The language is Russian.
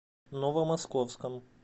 новомосковском